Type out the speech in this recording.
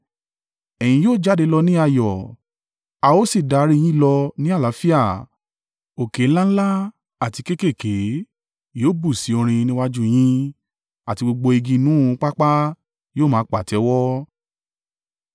Ẹ̀yin yóò jáde lọ ní ayọ̀ a ó sì darí i yín lọ ní àlàáfíà; òkè ńlá ńlá àti kéékèèké yóò bú sí orin níwájú yín àti gbogbo igi inú pápá yóò máa pàtẹ́wọ́.